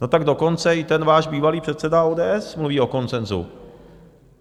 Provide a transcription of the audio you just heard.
No tak dokonce i ten váš bývalý předseda ODS mluví o konsenzu.